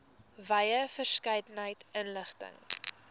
wye verskeidenheid inligting